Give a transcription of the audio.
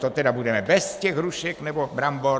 To tedy budeme bez těch hrušek nebo brambor?